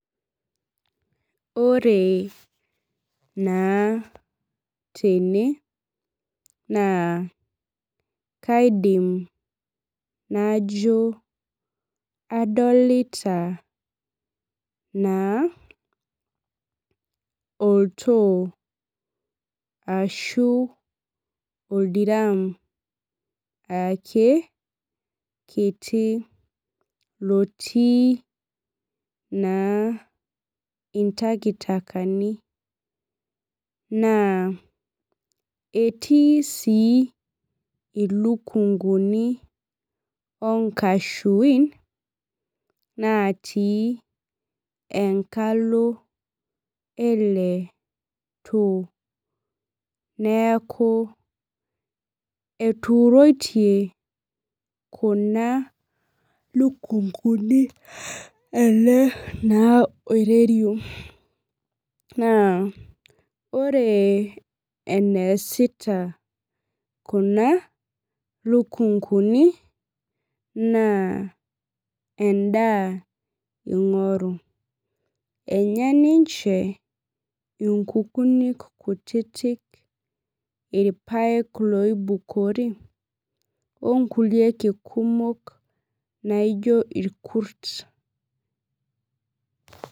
Ore naa tene, naa kaidim najo adolita naa oltoo ashu oldiramu ake kiti lotii naa itakitakani. Naa etii si ilukunkuni onkashuin, natii enkalo ele too. Neeku etuuroitie kuna lukunkuni ele naa oirerio. Naa ore eneesita kuna lukunkuni, naa endaa ing'oru. Enya ninche inkukuni kutitik, irpaek loibukori, onkulie ake kumok naijo irkut.